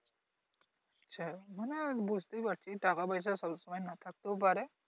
হ্যাঁ বুঝতেই পারছি টাকা পয়সা সব সময় নাহ থাকতেও পারে।